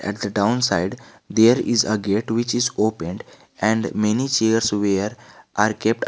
At the down side there is a gate which is opened and many chairs where are kept.